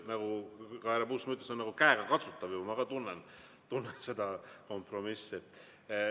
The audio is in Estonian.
Nagu härra Puustusmaa ütles, see on nagu käegakatsutav, ma ka tunnen seda kompromissi.